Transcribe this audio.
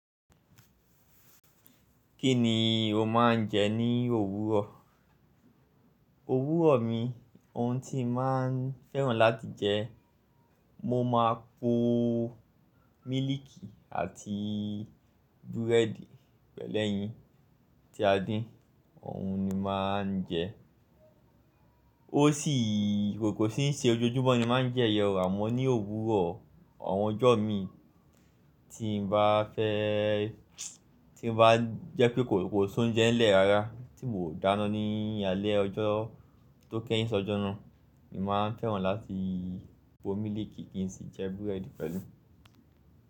Kí ni o má ń jẹ ní òwúrọ̀? Òwúrọ̀ mi, ohun tí mo má ń fẹ́ràn láti jẹ, mo máa po mílìkì àti búrẹ́dì pẹ̀lẹ́yìn tí a din, ọ̀hun ni màá ń jẹ. O si kòkò tí ń ṣe ojoojúmọ́ ni màá ń jẹ yen o àmọ́ ní òwúrọ̀ àwọn ọjọ́ mi tí mo bá fẹ́, tí bá jẹ́ pé kòkò sún jẹ ń lẹ́ ara tí mò dáná ni alẹ́ ọjọ́ tó kẹ́yìn ṣọjọ́ náà, èmi máa ń fẹ́ràn láti po mílìkì kí n si jẹ búrẹ́dì pẹ̀lú.